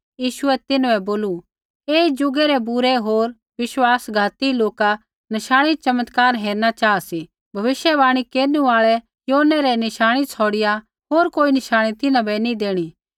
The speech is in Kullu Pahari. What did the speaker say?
यीशुऐ तिन्हां बै बोलू ऐई ज़ुगै रै बूरे होर विश्वासघाती लोका नशाणी चमत्कार हेरणा चाहा सी भविष्यवाणी केरनु आल़ै योनै रै नशाणी छ़ौड़िआ होर कोई नशाणी तिन्हां बै नैंई देणी